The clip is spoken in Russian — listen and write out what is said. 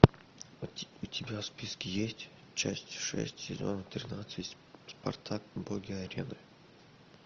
у тебя в списке есть часть шесть сезона тринадцать спартак боги арены